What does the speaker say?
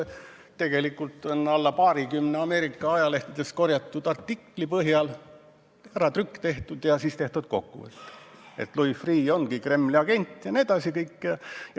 Tegelikult on vähem kui paarikümne Ameerika ajalehtedest korjatud artikli põhjal tehtud äratrükk ja siis koostatud kokkuvõte, et Louis Freeh ongi Kremli agent jne.